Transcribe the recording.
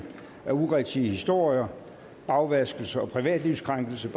urigtige historier bagvaskelse og privatlivskrænkelse